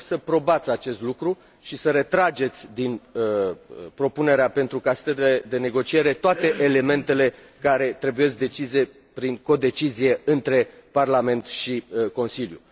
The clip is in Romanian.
Vă rog să probați acest lucru și să retrageți din propunerea pentru de negociere toate elementele care trebuie decise prin codecizie între Parlament și Consiliu.